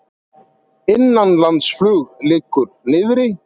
Innanlandsflug liggur niðri